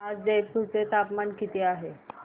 आज जयपूर चे तापमान किती आहे सांगा